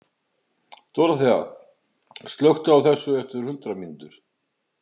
Dorothea, slökktu á þessu eftir hundrað mínútur.